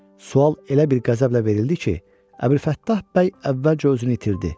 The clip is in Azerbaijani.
Sual elə bir qəzəblə verildi ki, Əbülfəttah bəy əvvəlcə özünü itirdi.